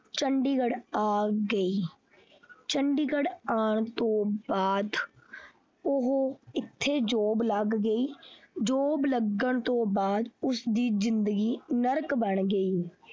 ਚੰਡੀਗੜ ਆ ਗਈ ਚੰਡੀਗੜ ਆਉਣ ਤੋਂ ਬਾਅਦ ਉਹ ਇਥੇ job ਲੱਗ ਗਈ job ਲੱਗਣ ਤੋਂ ਬਾਅਦ ਉਸਦੀ ਜਿੰਦਗੀ ਨਰਕ ਬਣ ਗਈ।